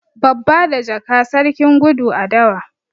Babba da jaka, sarkin gudu a dawa.